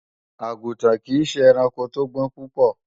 Àgùntàn kìí ṣe ẹranko tó gbọ́n púpọ̀